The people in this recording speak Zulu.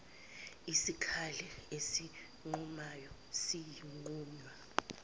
isikali esinqumayo siyonqunywa